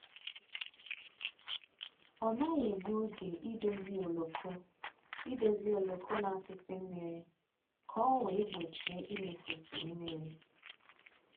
Ọ naghị egbu oge idozi oloko idozi oloko na-atụsi mmiri ka ọ wee gbochie imefusi mmiri